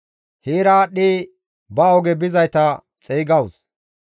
Heera aadhdhi ba oge bizayta xeygawus.